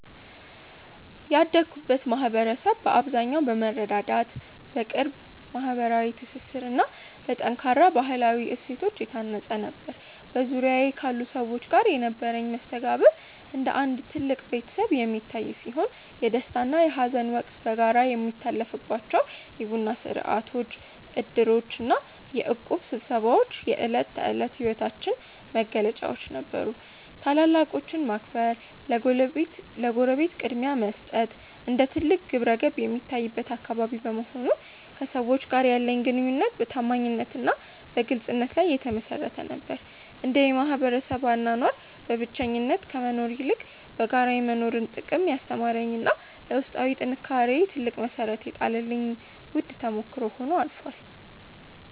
ያደግኩበት ማኅበረሰብ በአብዛኛው በመረዳዳት፣ በቅርብ ማኅበራዊ ትስስርና በጠንካራ ባሕላዊ እሴቶች የታነፀ ነበር። በዙሪያዬ ካሉ ሰዎች ጋር የነበረኝ መስተጋብር እንደ አንድ ትልቅ ቤተሰብ የሚታይ ሲሆን፣ የደስታና የሐዘን ወቅት በጋራ የሚታለፍባቸው የቡና ሥርዓቶች፣ ዕድሮችና የእቁብ ስብሰባዎች የዕለት ተዕለት ሕይወታችን መገለጫዎች ነበሩ። ታላላቆችን ማክበርና ለጎረቤት ቅድሚያ መስጠት እንደ ትልቅ ግብረገብ የሚታይበት አካባቢ በመሆኑ፣ ከሰዎች ጋር ያለኝ ግንኙነት በታማኝነትና በግልጽነት ላይ የተመሠረተ ነበር። ይህ የማኅበረሰብ አኗኗር በብቸኝነት ከመኖር ይልቅ በጋራ የመኖርን ጥቅም ያስተማረኝና ለውስጣዊ ጥንካሬዬ ትልቅ መሠረት የጣለልኝ ውድ ተሞክሮ ሆኖ አልፏል።